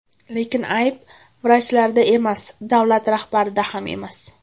Lekin ayb vrachlarda emas, davlat rahbarlarida ham emas.